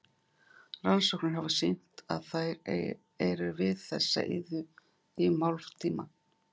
Rannsóknir hafa sýnt að þær eru við þessa iðju í um hálftíma.